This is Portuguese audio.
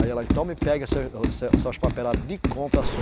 Aí ela, então, me pega seus, eh, se, suas papeladas de compra sua